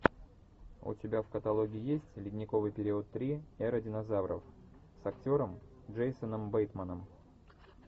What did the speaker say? у тебя в каталоге есть ледниковый период три эра динозавров с актером джейсоном бейтманом